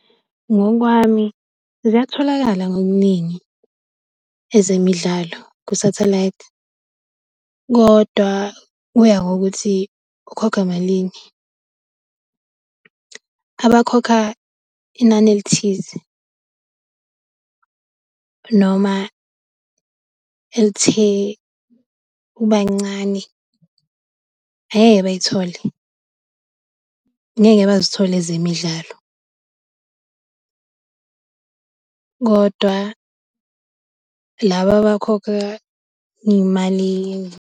Ngokwami, ziyatholakala ngobuningi ezemidlalo kusathelayithi kodwa kuya ngokuthi ukhokha malini. Abakhokha inani elithize noma elithe ukuba ncane, angeke bayithole. Ngeke bazithole ezemidlalo kodwa laba abakhokha iy'mali .